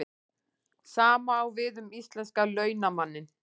Sama á við um íslenska launamanninn.